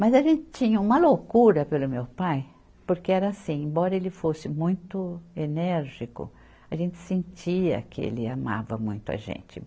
Mas a gente tinha uma loucura pelo meu pai, porque era assim, embora ele fosse muito enérgico, a gente sentia que ele amava muito a gente.